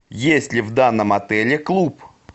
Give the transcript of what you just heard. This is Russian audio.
есть ли в данном отеле клуб